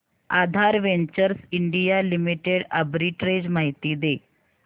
आधार ventures India limited arbitrage माहिती दे